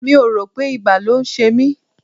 Mi ò rò pé ibà ló ṣe mí.